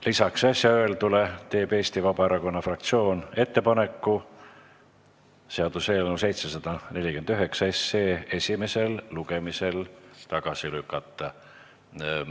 Lisaks äsja öeldule teeb Eesti Vabaerakonna fraktsioon ettepaneku seaduseelnõu 749 esimesel lugemisel tagasi lükata.